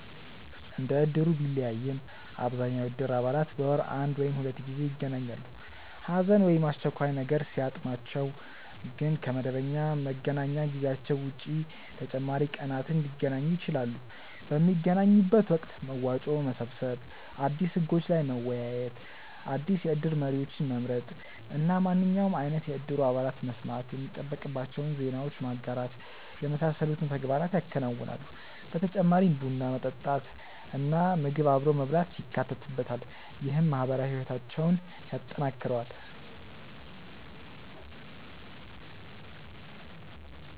እንደ እድሩ ቢለያይም አብዛኛው የእድር አባላት በወር አንድ ወይም ሁለት ጊዜ ይገናኛሉ። ሀዘን ወይም አስቸኳይ ነገር ሲያጥማቸው ግን ከ መደበኛ መገናኛ ጊዜያቸው ውጪ ተጨማሪ ቀናትን ሊገናኙ ይችላሉ። ። በሚገናኙበት ወቅት መዋጮ መሰብሰብ፣ አዲስ ህጎች ላይ መወያየት፣ አዲስ የእድር መሪዎችን መምረጥ እና ማንኛውም አይነት የእድሩ አባላት መስማት የሚጠበቅባቸውን ዜናዎች ማጋራት የመሳሰሉትን ተግባራት ያከናውናሉ። በተጨማሪም ቡና መጠጣት እና ምግብ አብሮ መብላት ይካተትበታል። ይህም ማህበራዊ ህይወታቸውን ያጠናክረዋል።